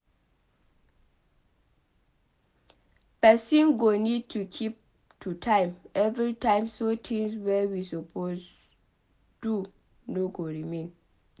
Person go need to keep to time every time so tins wey we suppose do no go remain